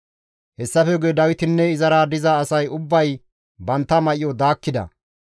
Hessafe guye Dawitinne izara diza asay ubbay bantta may7o daakkida.